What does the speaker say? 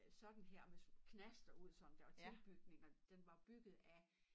Øh sådan her med knaster ud sådan der og tilbygninger den var bygget af